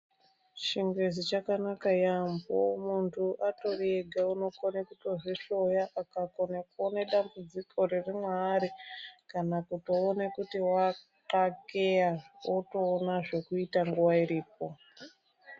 Chingezi chakanaka yaamho. Muntu atori ega unokone kutozvihloya akakone kuone dambudziko riri mwaari kana kutoone kuti wakakeya otoona zvekuita nguwa iripo.